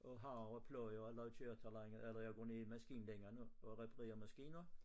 Og harver pløjer og lå og kørte et eller andet eller jeg går ned i maskinelængen og reparerer maskiner